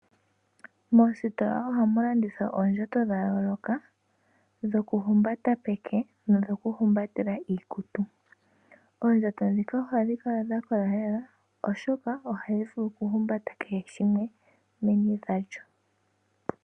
Moositola ohamu landithwa oondjato dha yooloka dhoku humbata peke, no dho kuhumbatela iikutu. Oondjato dhika ohadhi kala dha kola lela oshoka ohadhi vulu ku humbata kehe shimwe meni lyadho.